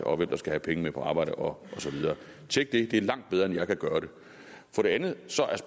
og hvem der skal have pengene på arbejde og så videre tjek det det er langt bedre end jeg kan gøre det for det andet